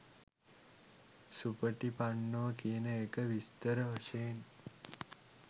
සුපටිපන්නෝ කියන එක විස්තර වශයෙන්.